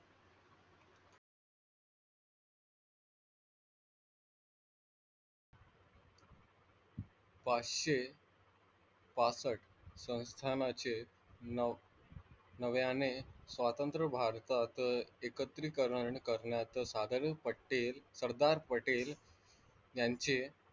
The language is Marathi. पाचशे पासष्ट संस्थानाचे न नव्याने स्वातंत्र्य भारतात एकत्रीकरण करण्याचे साधारण पटेल सरदार पटेल यांचे,